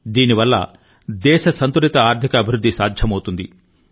దీనివల్ల దేశ సంతులిత ఆర్థిక అభివృద్ధి సాధ్యమవుతుంది